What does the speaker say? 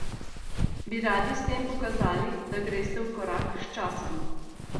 Bi radi s tem pokazali, da greste v korak s časom?